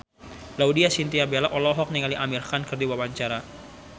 Laudya Chintya Bella olohok ningali Amir Khan keur diwawancara